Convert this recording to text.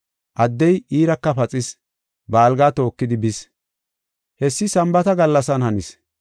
Addey iiraka paxis; ba algaa tookidi bis. Hessi Sambaata gallasan hanis.